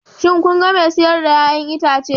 Shin kun ga mai siyar da 'ya'yan itace?